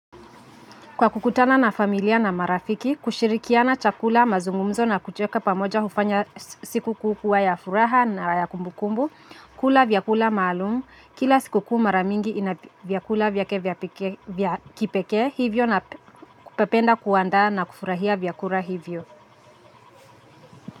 Kwa kukutana na familia na marafiki, kushirikiana chakula, mazungumzo na kucheka pamoja hufanya siku kuu kuwa ya furaha na ya kumbukumbu, kula vyakula maalum, kila siku kuu mara mingi ina vyakula vyake vya pekee vya kipekee hivyo na kupependa kuandaa na kufurahia vyakura hivyo.